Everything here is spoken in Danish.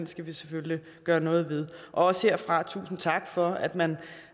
skal vi selvfølgelig gøre noget ved og også herfra tusind tak for at man